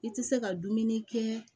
I tɛ se ka dumuni kɛ